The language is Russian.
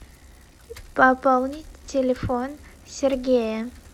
пополнить телефон сергея